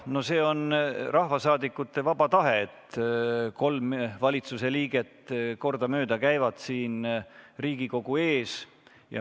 See on rahvasaadikute vaba tahe, et kolm valitsuse liiget käivad kordamööda siin Riigikogu ees.